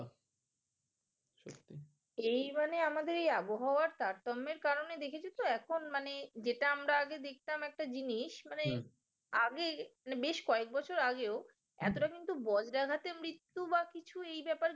এই মানে আমাদের এই আবহাওয়ার তারতম্যের কারণে দেখেছো তো? এখন মানে যেটা আমরা আগে দেখতাম একটা জিনিস মানে আগে বেশ কয়েক বছর আগেও এতটা কিন্তু বন জায়গাতে মৃত্যু বা কিছু এ ব্যাপারে